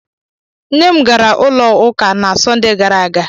Nne m gara ụlọ ụka na Sọnde gara aga.